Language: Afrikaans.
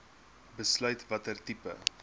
besluit watter tipe